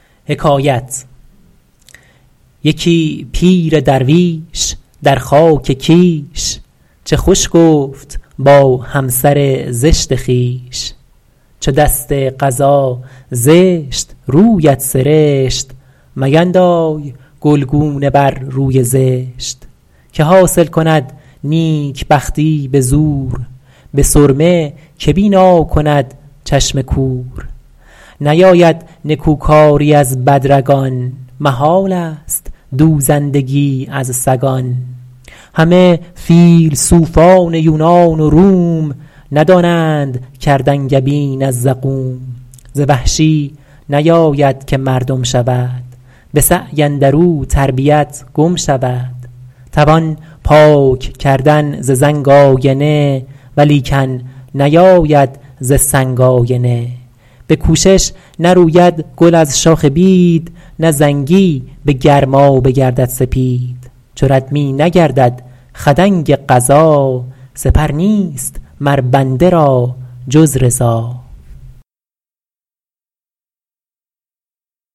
یکی پیر درویش در خاک کیش چه خوش گفت با همسر زشت خویش چو دست قضا زشت رویت سرشت میندای گلگونه بر روی زشت که حاصل کند نیکبختی به زور به سرمه که بینا کند چشم کور نیاید نکوکاری از بد رگان محال است دوزندگی از سگان همه فیلسوفان یونان و روم ندانند کرد انگبین از زقوم ز وحشی نیاید که مردم شود به سعی اندر او تربیت گم شود توان پاک ‎کردن ز زنگ آینه ولیکن نیاید ز سنگ آینه به کوشش نروید گل از شاخ بید نه زنگی به گرمابه گردد سپید چو رد می نگردد خدنگ قضا سپر نیست مر بنده را جز رضا